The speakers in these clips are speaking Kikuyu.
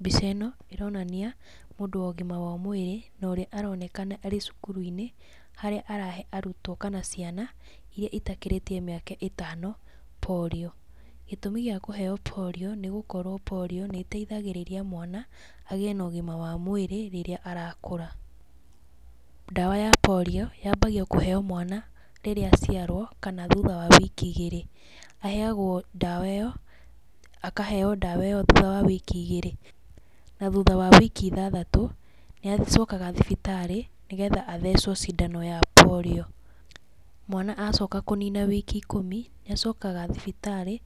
Mbica ĩno, ĩronania mũndũ wa ũgima wa mwĩrĩ, na ũrĩa aronekana arĩ cukuru-inĩ, harĩa arahe arutwo kana ciana, iria itakĩrĩtie mĩaka ĩtano polio. Gĩtũmi gĩa kũheo polio nĩ gũkorwo polio nĩ ĩteithagĩrĩria mwana agĩe na ũgima wa mwĩrĩ rĩrĩa arakũra. Ndawa ya polio yambagia kũheo mwana rĩrĩa aciarwo, kana thutha wa wiki igĩrĩ. Aheagwo ndawa ĩyo, akaheo ndawa ĩyo thuta wa wiki igĩrĩ, na thutha wa wiki ithathatũ, nĩ acokaga thibitarĩ nĩgetha athecwo cindano ya polio. Mwana acoka kũnina wiki ikũmi, nĩ acokaga thibitarĩ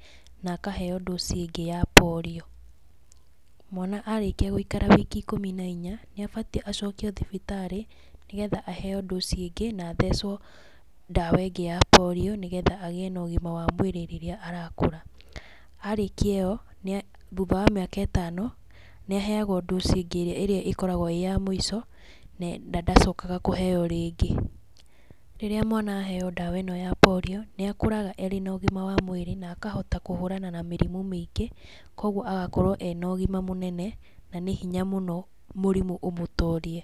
na akaheo ndũci ĩngĩ ya polio. Mwana arĩkia gũikara wiki ikũmi na inya nĩ abatie acokio thibitarĩ, nĩgetha aheo ndũci ĩngĩ na athecwo ndawa ĩngĩ ya polio, nĩgetha gĩe na ũgima wa mwĩrĩ rĩrĩa arakũra. Arĩkia ĩyo, thutha wa mĩaka ĩtano, nĩ aheagwo ndũci ĩngĩ ĩrĩa ĩrĩa ĩkoragwo ĩ ya mũico, na ndacokaga kũheo rĩngĩ. Rĩrĩa mwana aheo ndawa ĩno ya polio, nĩ akũraga arĩ na ũgima wa mwĩrĩ na akahota kũhũrana na mĩrimũ mĩingĩ, koguo agakorwo ena ũgima mũnene, na nĩ hinya mũno mũrimũ ũmũtorie.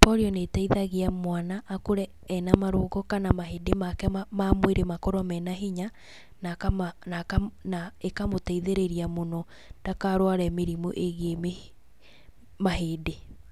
Polio nĩ ĩteithagia mwana akũre ena marũngo kana mahĩndĩ make ma ma mwĩrĩ makorwo mena hinya na akama na akama na ĩkamũtithĩrĩria mũno ndakarware mĩrimũ ĩgie mahĩndĩ.